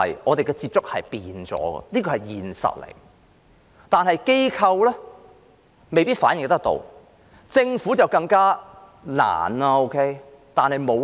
我們的接觸有所改變，這是現實，但機構未必反映得到，政府便更加困難了。